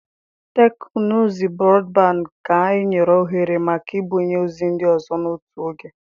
Teknụzụ brọdband ga-enye ohere maka ibunye ozi ndị ọzọ n'otu oge.